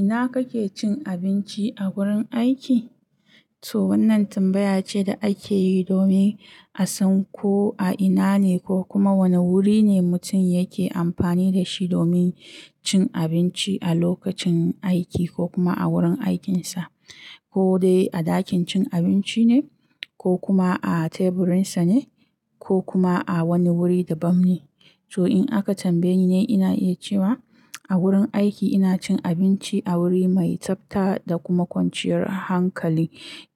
Ina kake cin abinci a wurin aiki? To wannan tambaya ce da ake yi domin a san ko a ina ne ko kuma wane wuri ne mutum yake amfani da shi domin cin abinci a lokacin aiki ko kuma a wurin aikinsa. Ko dai a ɗakin cin abinci ne ko kuma a teburinsa ne ko kuma a wani wuri dabam ne. To in aka tambaye ni, ina iya cewa a wurin aiki ina cin abinci a wuri mai tsafta da kuma kwanciyar hankali.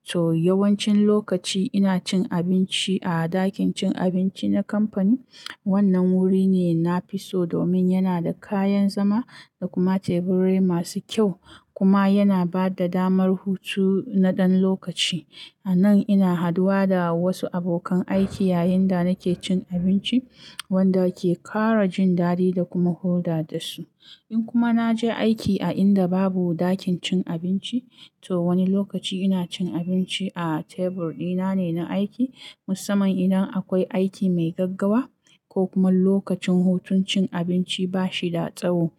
To yawancin lokaci ina cin abinci a ɗakin cin abinci na kamfani. Wannan wuri ne nafi so domin yana da kayan zama da kuma teburi masu kyau kuma yana ba da damar hutu na ɗan lokaci. A nan ina haduwa da wasu abokan aiki yayin da nake cin abinci wanda ke ƙara jin daɗi da kuma hulɗa da su. In kuma na je aiki a inda babu ɗakin cin abinci, to wani lokaci ina cin abinci a tebur ɗina ne na aiki musamman idan akwai aiki mai gaggawa ko kuma lokacin hutun cin abinci ba shi da tsaho.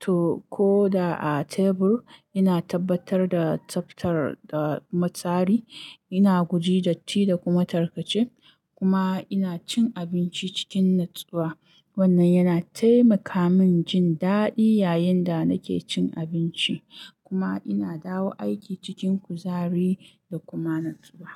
To ko da a tebur, ina tabbatar da tsaftar da tsari. Ina guji datti da kuma tarkace kuma ina cin abinci cikin natsuwa. Wannan yana taimaka min jin daɗi yayin da nake cin abinci. Kuma ina dawo aiki cikin kuzari da kuma natsuwa.